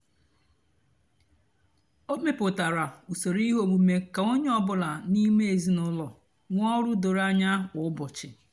ó mepụtárá usoro íhè ómumé kà ónyé ọ bụlà n'ímé ézinụlọ nwée ọrụ dórò ányá kwá úbọchị.